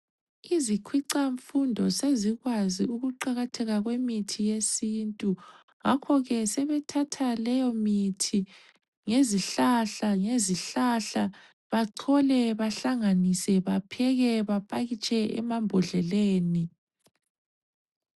Izikhwicamfundo sezikwazi ukuqakatheka kwemithi yesintu ngakho ke sebethatha leyo mithi ngezihlahla, ngezihlahla bachole bahlanganise bapheke bapakitshe emambodleleni.